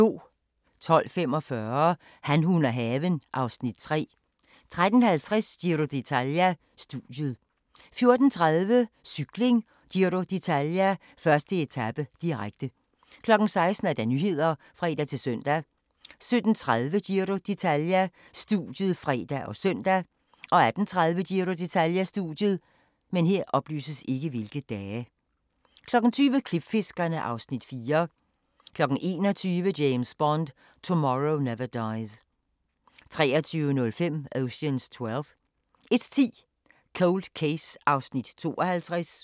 12:45: Han, hun og haven (Afs. 3) 13:50: Giro d'Italia: Studiet 14:30: Cykling: Giro d'Italia - 1. etape, direkte 16:00: Nyhederne (fre-søn) 17:30: Giro d'Italia: Studiet (fre og søn) 18:30: Giro d'Italia: Studiet 20:00: Klipfiskerne (Afs. 4) 21:00: James Bond: Tomorrow Never Dies 23:05: Ocean's Twelve 01:10: Cold Case (52:156)